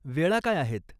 वेळा काय आहेत?